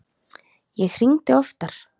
Ég hringdi oftar.